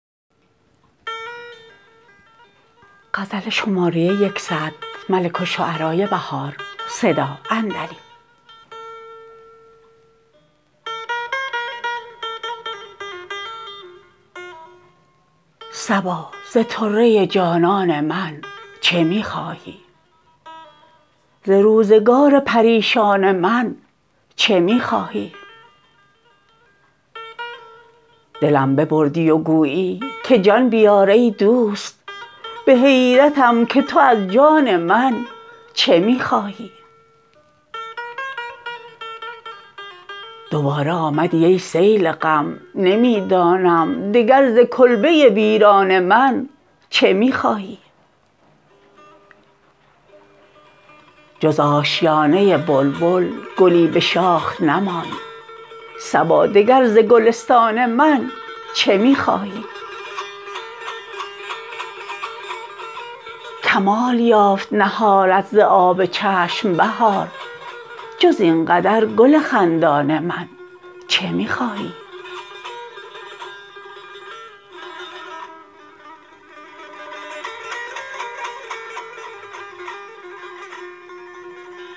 صبا ز طره جانان من چه می خواهی ز روزگار پریشان من چه می خواهی دلم ببردی و گویی که جان بیار ای دوست به حیرتم که تو از جان من چه می خواهی دوباره آمدی ای سیل غم نمی دانم دگر ز کلبه ویران من چه می خواهی جز آشیانه بلبل گلی به شاخ نماند صبا دگر ز گلستان من چه می خواهی کمال یافت نهالت ز آب چشم بهار جز اینقدر گل خندان من چه می خواهی